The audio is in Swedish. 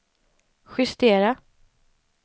justera